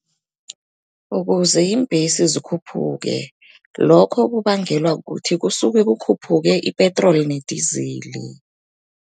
Ukuze iimbhesi zikhuphuke, lokho kubangelwa kukuthi kusuke kukhuphuke ipetroli nedizili.